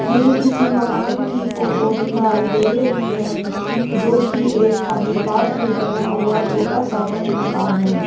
यह किसी मकान की फोटो दिखाई दे रही है जो कि एक खाली प्लाट में बना हुआ छोटा सा बंद मकान है।